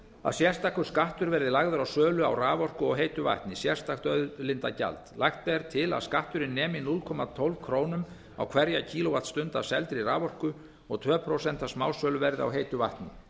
að sérstakur skattur verði lagður á sölu á raforku og heitu vatni sérstakt auðlindagjald lagt er til að skatturinn nemi núll komma tólf krónur á hverja kílóvattstund af seldri raforku og tvö prósent af smásöluverði á heitu vatni